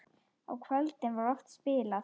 Á kvöldin var oft spilað.